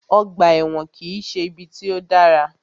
Ọgbà ẹ̀wọ̀n kìí ṣe ibi tí o dára.